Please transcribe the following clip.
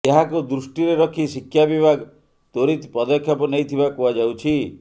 ଏହାକୁ ଦୃଷ୍ଟିରେ ରଖି ଶିକ୍ଷା ବିଭାଗ ତ୍ୱରିତ ପଦକ୍ଷେପ ନେଇଥିବା କୁହାଯାଉଛି